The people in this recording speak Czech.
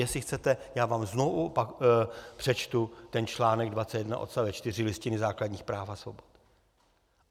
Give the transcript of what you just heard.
Jestli chcete, já vám znovu přečtu ten článek 21 odst. 4 Listiny základních práv a svobod.